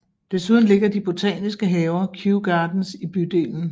Desuden ligger de botaniske haver Kew Gardens i bydelen